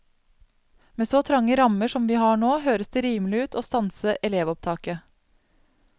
Med så trange rammer som vi har nå, høres det rimelig ut å stanse elevopptaket.